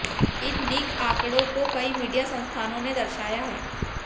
इन leak आंकड़ों को कई मीडिया संस्थानों ने दर्शाया है